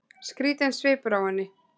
Skrýtinn svipur á henni.